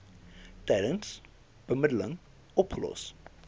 tydens bemiddeling opgelos